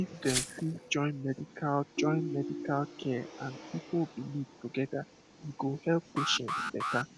if dem fit join medical join medical care and people belief together e go help patients better